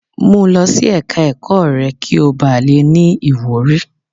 Mu lọ sí ẹ̀ka ẹ̀kọ́ rẹ kí ó ba le ní ìwúrí.